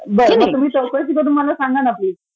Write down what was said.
बर मग तुम्ही चौकशी करून मला सांगा ना प्लिज